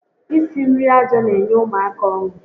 Isi nri aja n'enye ụmụaka ọṅụ